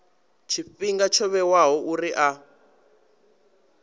tshifhinga tsho vhewaho uri a